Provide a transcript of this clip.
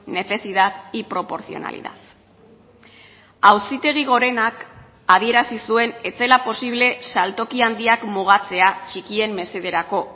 necesidad y proporcionalidad auzitegi gorenak adierazi zuen ez zela posible saltoki handiak mugatzea txikien mesederako